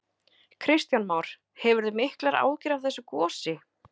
Kristján Már: Hefurðu miklar áhyggjur af þessu gosi?